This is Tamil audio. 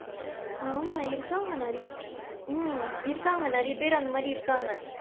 ஆமா, இருக்காங்க நிறைய பேரு ஹம் இருக்காங்க நிறைய பேரு அந்த மாதிரி இருக்காங்க.